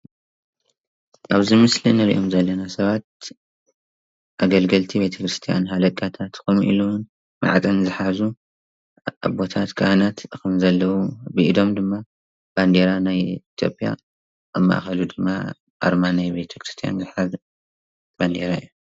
አብዚ ምስሊ እንሪኦም ዘለና ስባት አገልገልትን ቤተክርስትያን ሃለቃታት ኮይኖም መዓጥን ዝሓዙ አቦታት ካህናት ከም ዘለዉ ቢኢዶም ድማ ባንዴራ ናይ ኢትጲያ አብ ማእከላይ ድማ አርማ ናይ ቤተከርስትያን ዘሓዘ ባንዴራ እዩ፡፡